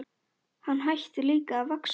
Hann hætti líka að vaxa.